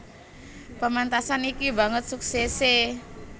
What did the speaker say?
Pementasan iki banget suksese